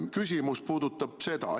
Küsimus puudutab seda.